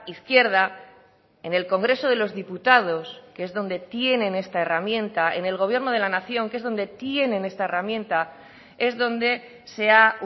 izquierda en el congreso de los diputados que es donde tienen esta herramienta en el gobierno de la nación que es donde tienen esta herramienta es donde se ha